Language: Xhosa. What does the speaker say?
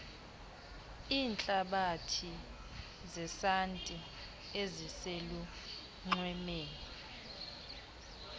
iintlabathi zesanti eziselunxwemeni